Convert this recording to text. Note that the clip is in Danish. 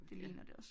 Ligner det også